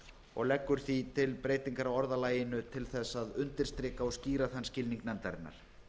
og leggur því til breytingar á orðalaginu til þess að undirstrika og skýra þann skilning nefndarinnar